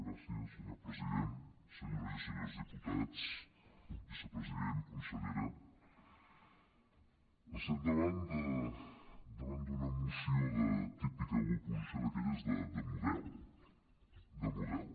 gràcies senyor president senyores i senyors diputats vicepresident consellera estem davant d’una moció de típica oposició d’aquelles de model de model